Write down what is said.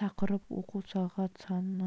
тақырып оқу сағат саны